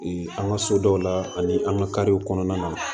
an ka so dɔw la ani an ka kariw kɔnɔna na